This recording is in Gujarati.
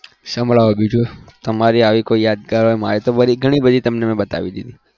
સંભળાવો બીજું તમારી આવી કોઈ યાદગાર મારી તો બધી ઘણી બધી તમે મેં બતાવી દીધી.